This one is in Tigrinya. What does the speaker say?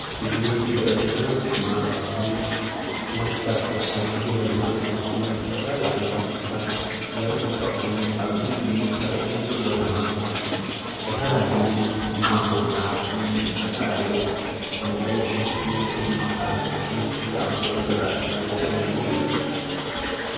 እዚ ንሪኦ ዘለና ምስሊ ድማ ካብ እቶም መሳርሕታት ሕርሻን ግብርናን ዝኮኑ ዝተፈላለዩ ዓይነታት ተክሊታት ዘሪኢ እንትትከውን፣ አብ እዚ ምስሊ ዝሪአየና ዘሎ ድማ ዝተፈላለዩ ማንጎታት ዝተፈላለዩ ከም ቀይሕ ሽጉርትን ወይ ድማ ፃዕዳ ሽጉርቲ ዝአመሰሉ ዝራእትታት ዘሪኢ ምስሊ እዩ፡፡